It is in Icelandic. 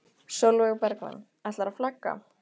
Sólveig Bergmann: Ætlarðu að flagga?